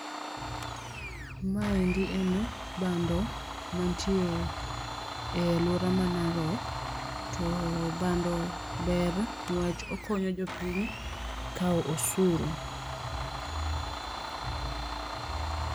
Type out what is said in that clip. Ma endi en bando mantie e aluora ma Narok to bando ber ni wach okonyo jopiny kao osuru.